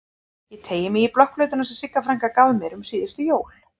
Ég teygi mig í blokkflautuna sem Sigga frænka gaf mér um síðustu jól.